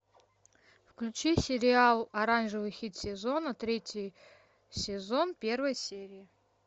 включи сериал оранжевый хит сезона третий сезон первая серия